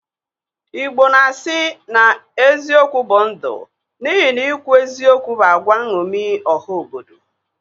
Igbo na-asi na eziokwu bụ ndu n'ihi na ikwu eziokwu bụ agwa nṅomi ọha obodo